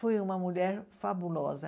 Foi uma mulher fabulosa.